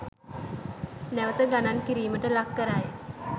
නැවත ගණන් කිරීමට ලක්කරයි.